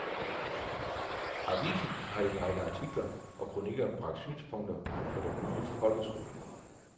Avisen har i en række artikler og kronikker bragt synspunkter på den nye folkeskolelov.